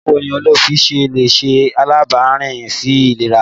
Báwo ni ólífì ṣe lè ṣe alábàápín sí ìlera?